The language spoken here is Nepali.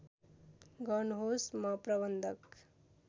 गर्नुहोस् म प्रबन्धक